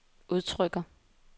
udtrykker